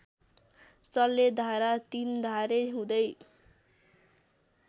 सल्लेधारा तिन्धारे हुँदै